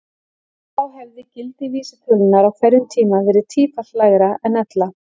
Þá hefði gildi vísitölunnar á hverjum tíma verið tífalt lægra en ella.